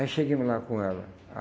Aí chegamos lá com ela.